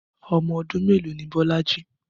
Ọmọ ọdún mélòó ni Bolaji?